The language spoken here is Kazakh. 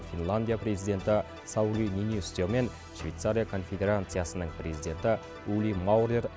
финландия президенті саули ниинистё мен швейцария конфедерациясының президенті ули маурер